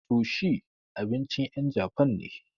Sushi abincin ƴen japan ne.